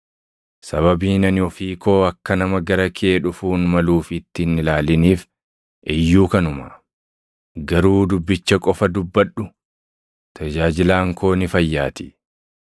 Sababiin ani ofii koo akka nama gara kee dhufuun maluufitti hin ilaaliniif iyyuu kanuma. Garuu dubbicha qofa dubbadhu; tajaajilaan koo ni fayyaatii.